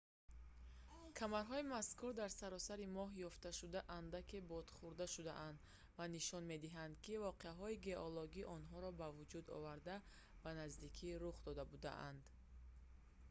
камарҳои мазкури дар саросари моҳ ёфтшуда андаке бодхӯрда шудаанд ва нишон медиҳанд ки воқеаҳои геологии онҳоро ба вуҷуд оварда ба наздикӣ рух дода будаанд